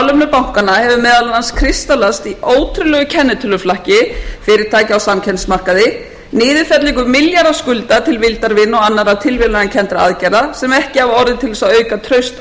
bankanna hefur meðal annars kristallast í ótrúlegu kennitöluflakki fyrirtækja á samkeppnismarkaði niðurfellingu milljarðaskulda til vildarvina og annarra tilviljanakenndra aðgerða sem ekki hafa orðið til þess að auka traust